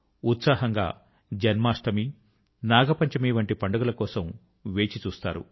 ఉత్సాహం గా జన్మాష్టమి నాగ పంచమి వంటి పండుగల కోసం వేచి చూస్తారు